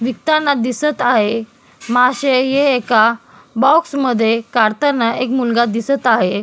विकताना दिसत आहे मासे हे एका बॉक्स मध्ये काढताना एक मुलगा दिसत आहे.